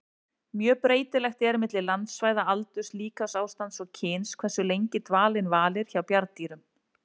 Mjög breytilegt er milli landsvæða, aldurs, líkamsástands og kyns hversu lengi dvalinn varir hjá bjarndýrum.